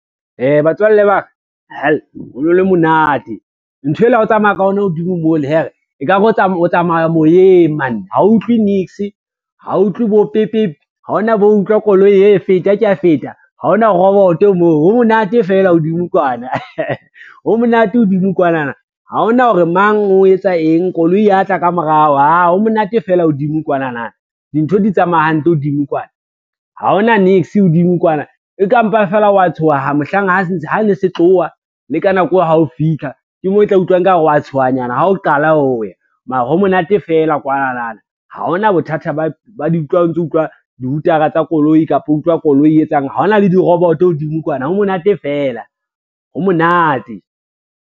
Batswalle ba ka hell, ho no le monate nthwela ha o tsamaya ka yona hodimo mole hell, ekare o tsamaya moyeng mane ha o utlwe niks, ha o utlwe bo pipip, ha ona bo utlwa koloi hey feta kea feta, ha ona roboto moo ho monate fela hodimo kwana, ho monate hodimo kwana na. Ha ona hore mang o etsa eng, koloi ya tla ka morao aah ho monate fela hodimo kwanana dintho di tsamaya hantle hodimo kwana. Ha ona niks hodimo kwana, e ka mpa fela wa tshoha mohlang ha ne se tloha le ka nako ha o fitlha, ke moo e tla utlwa ekare wa tshohanyana ha o qala ho ya, mara ho monate fela kwanana ha hona bothata o ntso utlwa di-hooter-a tsa koloi, kapa utlwa koloi e etsang, ha hona le di-robot hodimo kwana ho monate fela, ho monate.